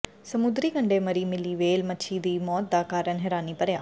ਸਮੁੰਦਰੀ ਕੰਢੇ ਮਰੀ ਮਿਲੀ ਵੇਲ੍ਹ ਮੱਛੀ ਦੀ ਮੌਤ ਦਾ ਕਾਰਨ ਹੈਰਾਨੀ ਭਰਿਆ